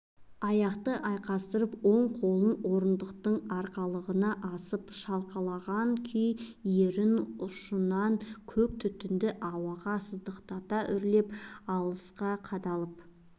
аяқты айқастырып оң қолын орындықтың арқалығына асып шалқалаған күй ерін ұшынан көк түтінді ауаға сыздықтата үрлеп алысқа қадалып